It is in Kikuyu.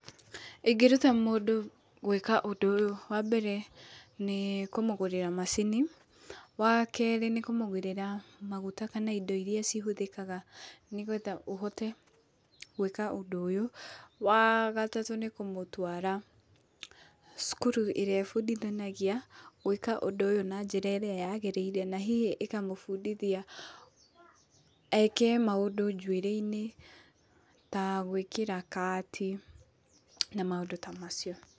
Ingĩruta mũndũ gũĩka ũndũ ũyũ; wa mbere, nĩ kũmũgũrĩra macini, wa kerĩ nĩ kũmũgũrĩra maguta kana indo iria cihũthĩkaga nĩ getha ũhote gũĩka ũndũ ũyũ, wa gatatũ nĩ kũmũtwara cukuru ĩrĩa ĩbundithanagia gũĩka ũndũ ũyũ na njĩra ĩrĩa yagĩrĩire na hihi ĩkamũbundithia eke maũndũ njuĩrĩ-inĩ ta gũĩkĩra kaati na maũndũ ta macio.